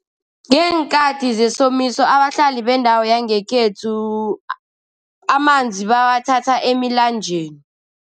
Ngeenkhathi zesomiso abahlali bendawo yangekhethu amanzi bawathatha emilanjeni.